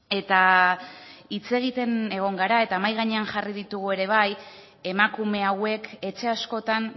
eta hitz egiten egon gara eta mahai gainean jarri ditugu ere bai emakume hauek etxe askotan